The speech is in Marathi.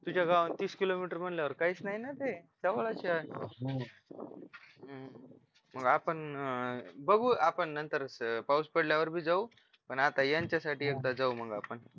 तुझ्या गावाहून तीस किलोमीटर म्हटल्यावर काहीच नाही ना ते तेव्हडाच आहे मग आपण बघू आपण नंतरच पाऊस पडल्यावर बी जाऊ अन आता यांच्यासाठी एकदा जाऊ मग आपण